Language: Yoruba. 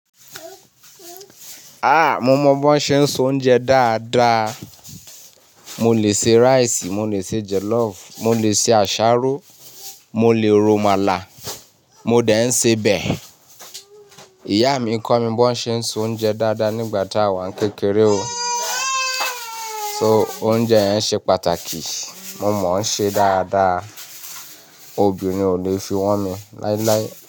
Ah! Mo mọ bó ń ṣe se oúnjẹ dáadáa. Mo lè se rice, mo lè se jollof, mo lè se àsáró, mo lè ro amàlà, mo dè n ṣe obẹ́ẹ̀. Ìyá mi kọ́ mi bó ń ṣe se oúnjẹ dáadáa nígbà tá awà ń kékeré o. So oúnjẹ yẹn ṣe pàtàkì. Mo mọ ṣe dáadáa. Óbírin kò lè fi wọ́n mi láíláí.